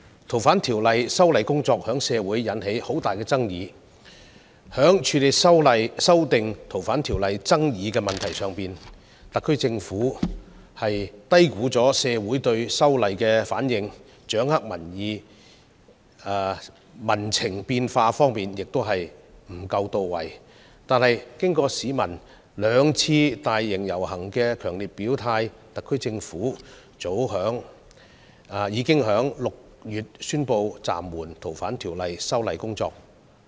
《逃犯條例》修訂工作在社會上引起很大爭議，在處理修訂《逃犯條例》的爭議方面，特區政府低估了社會的反應，掌握民情變化的工作亦不到位，但經過市民兩次大型遊行的強烈表態，特區政府早在6月宣布暫緩《逃犯條例》的修訂工作。